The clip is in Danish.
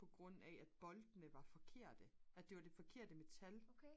på grund af at boltene var forkerte at det var det forkerte metal